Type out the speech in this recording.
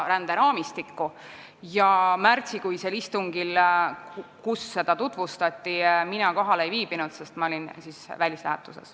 Märtsikuisel istungil, kus seda teemat tutvustati, mina kohal ei viibinud, sest ma olin välislähetuses.